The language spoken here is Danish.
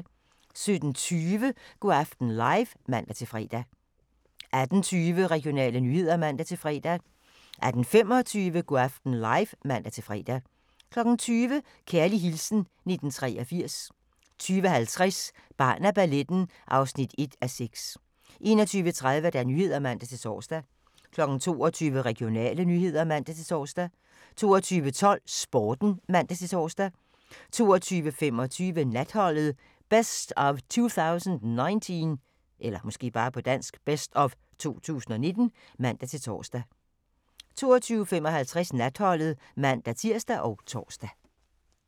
17:20: Go' aften live (man-fre) 18:20: Regionale nyheder (man-fre) 18:25: Go' aften live (man-fre) 20:00: Kærlig hilsen 1983 20:50: Barn af balletten (1:6) 21:30: Nyhederne (man-tor) 22:00: Regionale nyheder (man-tor) 22:12: Sporten (man-tor) 22:25: Natholdet - best of 2019 (man-tor) 22:55: Natholdet (man-tir og tor)